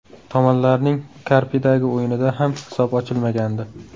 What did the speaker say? Tomonlarning Karpidagi o‘yinida ham hisob ochilmagandi.